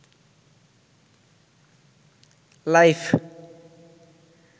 life